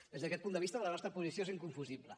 des d’aquest punt de vista la nostra posició és inconfusible